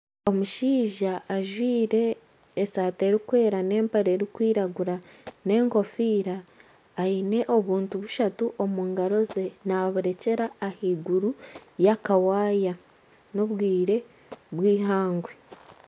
Omushaija ajwire esati erikwera n'empare erikwiragura n'enkofiira aine obuntu bushatu omungaro ze naburekyera ahaiguru ya kawaya. N'obwire bw'ihangwe.